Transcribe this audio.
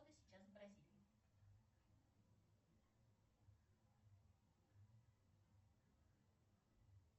сейчас в бразилии